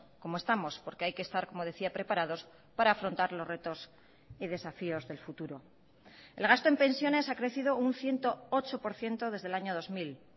como estamos porque hay que estar como decía preparados para afrontar los retos y desafíos del futuro el gasto en pensiones ha crecido un ciento ocho por ciento desde el año dos mil